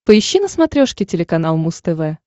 поищи на смотрешке телеканал муз тв